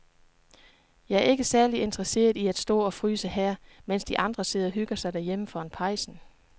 Jeg er ikke særlig interesseret i at stå og fryse her, mens de andre sidder og hygger sig derhjemme foran pejsen.